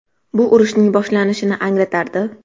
Bu urushning boshlanishini anglatardi.